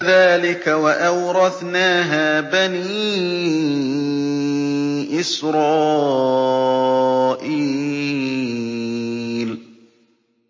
كَذَٰلِكَ وَأَوْرَثْنَاهَا بَنِي إِسْرَائِيلَ